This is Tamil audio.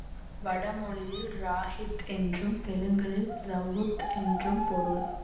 வடமொழியில் ராஹித் என்றும் தெலுங்கில் ரவுத்து என்றும் பொருள்